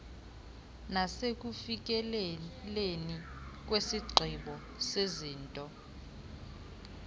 nasekufikeleleni kwisigqibo sezinto